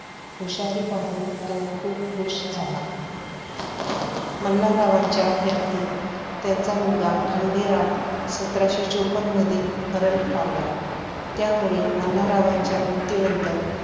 हुशारी पाहून तो खूप खुश झाला. मल्हाररावांच्या हयातीत त्यांचा मुलगा खंडेराव सतराशे चोपन्न मध्ये मरण पावला. त्यामुळे मल्हाररावांच्या मृत्यूनंतर